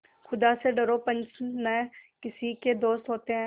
खुदा से डरो पंच न किसी के दोस्त होते हैं